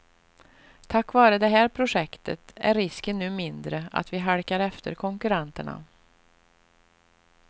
Tack vare det här projektet är risken nu mindre att vi halkar efter konkurrenterna.